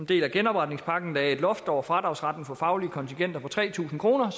del af genopretningspakken lagde et loft over fradragsretten for faglige kontingenter på tre tusind kr